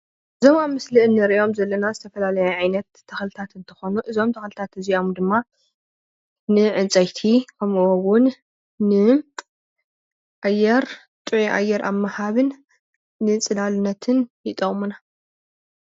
እዞም ኣብ ምስሊ ንሪኦም ዘለና ዝተፈላለዩ ዓይነታት ተክልታት እንትኮኑ እዞም ተልክታት እዚኦም ድማ ንዕንፀይቲ, ከም'ኡ እዉን ን ኣየር ጥዑይ ኣየር ኣብ ምሃብን ንፅላልነትን ይጠቅሙና::